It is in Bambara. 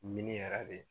yɛrɛ de